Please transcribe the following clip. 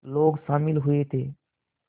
लोग शामिल हुए थे